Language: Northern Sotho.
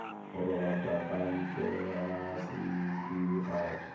go robatšwa ka ntlega setšidifatši